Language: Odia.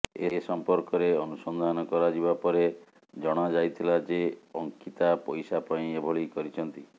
ଏ ସଂପର୍କରେ ଅନୁସନ୍ଧାନ କରାଯିବା ପରେ ଜଣାଯାଇଥିଲା ଯେ ଅଙ୍କିତା ପଇସା ପାଇଁ ଏଭଳି କରିଛନ୍ତି